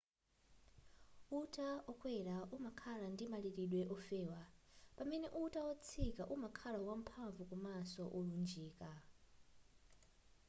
uta-wokwera umakhala ndi malilidwe wofewa pamene uta wotsika umakhala wamphamvu komanso wolunjika